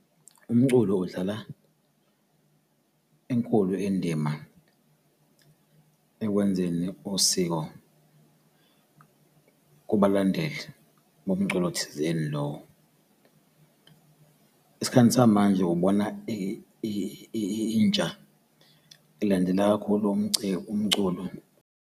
Umculo udlala enkulu indima ekwenzeni usiko kubalandeli bomculo thizeni . Esikhathi samanje ubona intsha ilandela kakhulu umculo.